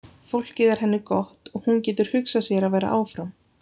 Fólkið er henni gott og hún getur hugsað sér að vera áfram.